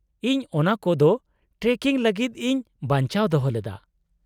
-ᱤᱧ ᱚᱱᱟᱠᱚ ᱫᱚ ᱴᱨᱮᱠᱤᱝ ᱞᱟᱹᱜᱤᱫ ᱤᱧ ᱵᱟᱧᱪᱟᱣ ᱫᱚᱦᱚ ᱞᱮᱫᱟ ᱾